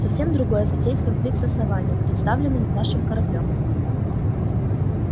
совсем другое затеять конфликт с основанием представленным нашим кораблём